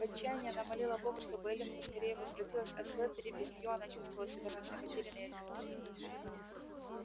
в отчаянии она молила бога чтобы эллин поскорее возвратилась от слэттери без неё она чувствовала себя совсем потерянной и одинокой